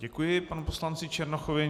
Děkuji panu poslanci Černochovi.